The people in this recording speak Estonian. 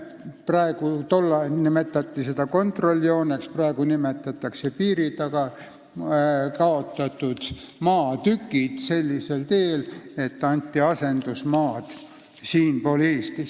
Näiteks hüvitati Petserimaal, piiri taga kaotatud maad sellisel teel, et anti soovijatele asendusmaad siinpool piiri, Eestis.